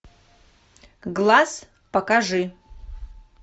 глаз покажи